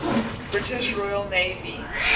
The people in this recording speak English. british royal navy